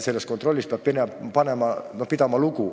Sellest kontrollist peab lugu pidama.